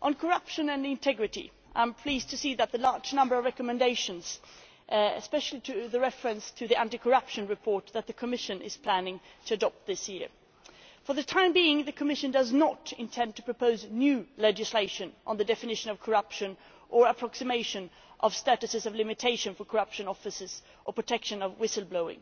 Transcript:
On corruption and integrity, I am pleased to see the large number of recommendations, especially with reference to the anti corruption report that the Commission is planning to adopt this year. For the time being the Commission does not intend to propose new legislation on the definition of corruption, the approximation of statutes of limitation for corruption offences or the protection of whistleblowers.